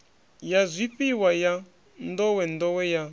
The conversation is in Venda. ya zwifhiwa ya nḓowenḓowe ya